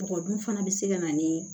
Bɔgɔ dun fana bɛ se ka na ni